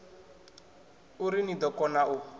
uri ni ḓo kona u